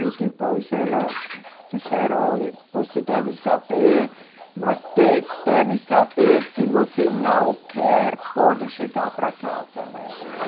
E depois ela disseram, olhe, você deve saber, mas de, deve saber, se você não quer, pode chegar para casa, né?